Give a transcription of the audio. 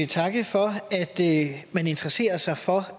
takke for at man interesserer sig for